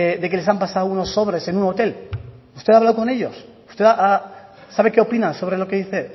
de que les han pasado unos sobres en un hotel usted ha hablado con ellos usted sabe qué opinan sobre lo que dice